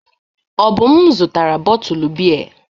Obum zụtara bọtụlụ biya.